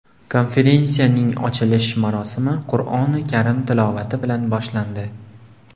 Konferensiyaning ochilish marosimi Qur’oni karim tilovati bilan boshlandi.